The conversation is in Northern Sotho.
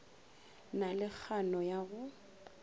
na le kgano ya go